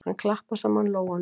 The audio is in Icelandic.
Hann klappar saman lófunum.